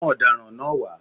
Mú ọ̀daràn náà wá.